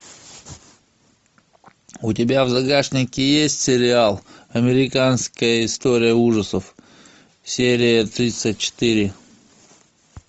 у тебя в загашнике есть сериал американская история ужасов серия тридцать четыре